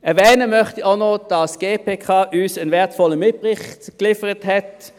Erwähnen möchte ich auch noch, dass uns die GPK einen wertvollen Mitbericht geliefert hat.